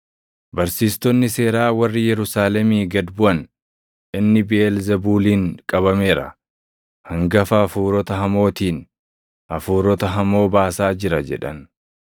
Barsiistonni seeraa warri Yerusaalemii gad buʼan, “Inni Biʼeelzebuuliin qabameera! Hangafa hafuurota hamootiin hafuurota hamoo baasaa jira” jedhan.